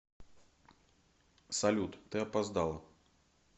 салют ты опоздала